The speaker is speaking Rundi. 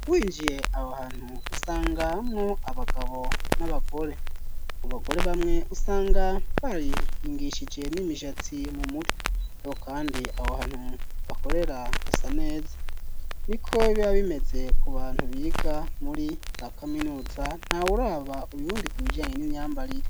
Winjiye aho hantu usanga nko abagabo n'abagore mu bagore bamwe usanga barihingishije n'imishatsi mu mutwi nko kandi aho hantu bakorera hasa neza ni ko bibabimeze ku bantu biga muri za kaminuza nta wuraba uyundi kubijanye n'imyambarire.